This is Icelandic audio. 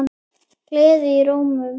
Gleði í rómnum.